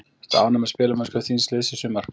Ertu ánægð með spilamennsku þíns liðs í sumar?